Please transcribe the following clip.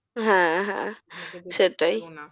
হ্যাঁ হ্যাঁ